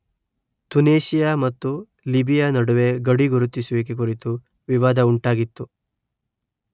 ತುನೇಶಿಯಾ ಮತ್ತು ಲಿಬಿಯಾ ನಡುವೆ ಗಡಿ ಗುರುತಿಸುವಿಕೆ ಕುರಿತು ವಿವಾದ ಉಂಟಾಗಿತ್ತು